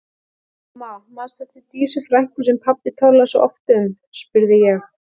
Mamma, manstu eftir Dísu frænku sem pabbi talaði svo oft um? spurði ég.